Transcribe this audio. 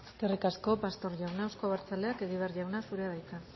eskerrik asko pastor jauna euzko abertzaleak egibar jauna zurea da hitza